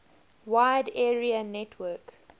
wide area network